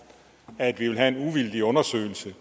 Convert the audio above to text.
at vi ville have en uvildig undersøgelse